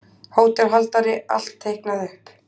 HÓTELHALDARI: Allt teiknað upp.